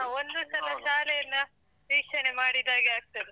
ಒಂದು ಸಲ ಶಾಲೆಯನ್ನ ವೀಕ್ಷಣೆ ಮಾಡಿದಾಗೆ ಆಗ್ತದೆ.